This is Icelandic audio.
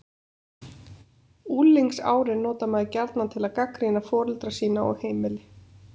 Unglingsárin notar maður gjarnan til að gagnrýna foreldra sína og heimili.